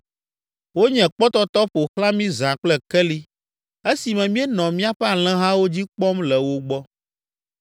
Wonye kpɔtɔtɔ ƒo xlã mí zã kple keli esime míenɔ míaƒe alẽhawo dzi kpɔm le wo gbɔ.